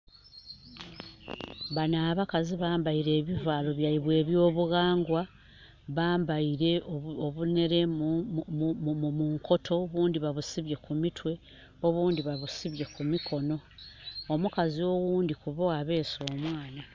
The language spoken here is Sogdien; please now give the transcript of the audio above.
Bano abakazi bambaire ebivalo byaibwe ebyo bughangwa, bambaire obunhere mu nkoto obindhi babisibye ku mitwe obindhi ba busibye kumikonho. Omukazi oghundhi kubo abese omwana.